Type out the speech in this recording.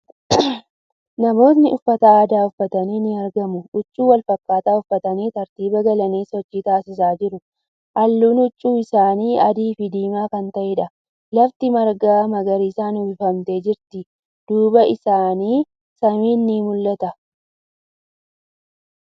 Namootni uffata aadaa uffatanii ni argamu. Huccuu walfakkaataa uffatanii tartiiba galanii sochii taasisaa jiru. Haallun huccuu isaanii adii fi diimaa kan ta'eedha. Lafti marga magariisan uwwifamtee jirti. Duuba isaanii samiin ni mul'ata.